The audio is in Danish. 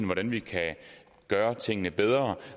hvordan vi kan gøre tingene bedre